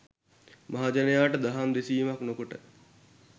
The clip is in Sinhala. මහජනයාට දහම් දෙසීමක් නොකොට